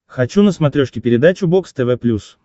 хочу на смотрешке передачу бокс тв плюс